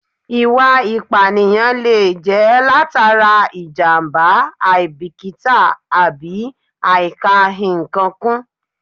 Ìwà ìpànìyàn lè jẹ́ látara ìjàmbá, àìbíkítà àbí àìkà-ǹkan kún